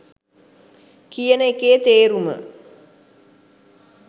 කියන එකේ තේරුම.